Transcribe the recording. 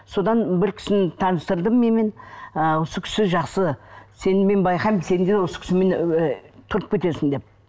содан бір кісіні таныстырды менімен ы осы кісі жақсы сені мен байқаймын сен де осы кісімен ыыы тұрып кетесің деп